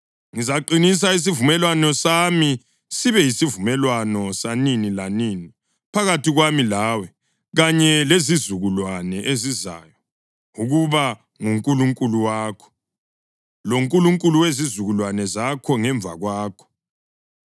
Ngizaqinisa isivumelwano sami sibe yisivumelwano sanini lanini phakathi kwami lawe kanye lezizukulwane ezizayo ukuba nguNkulunkulu wakho, loNkulunkulu wezizukulwane zakho ngemva kwakho.